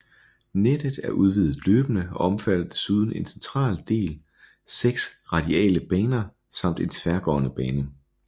Nettet er udvidet løbende og omfatter foruden en central del 6 radiale baner samt en tværgående bane